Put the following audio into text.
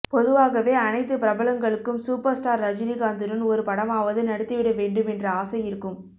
பொதுவாகவே அனைத்து பிரபலங்களுக்கும் சூப்பர் ஸ்டார் ரஜினி காந்துடன் ஒரு படமாவது நடித்து விட வேண்டும் என்ற ஆசை இருக்கும்